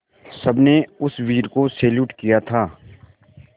सबने उस वीर को सैल्यूट किया था